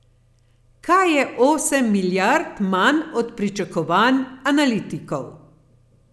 Kar je osem milijard manj od pričakovanj analitikov.